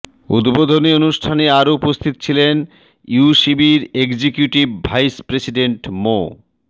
উদ্বোধনী অনুষ্ঠানে আরও উপস্থিত ছিলেন ইউসিবির এক্সিকিউটিভ ভাইস প্রেসিডেন্ট মো